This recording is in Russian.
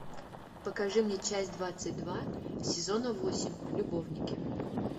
покажи мне часть двадцать два сезона восемь любовники